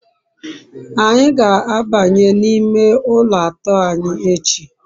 anyi ga-abanye n'ime ulo ato anyi echi